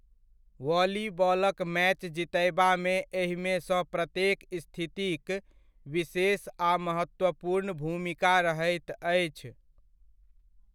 वॉलीबॉलक match जितयबामे एहिमेसँ प्रत्येक स्थितिक विशेष आ महत्वपूर्ण भूमिका रहैत अछि।